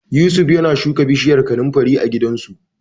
Yusuf yana shuka bishiyar kanunfari a gidansu.